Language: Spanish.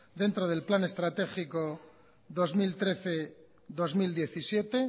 dentro del plan estratégico dos mil trece dos mil diecisiete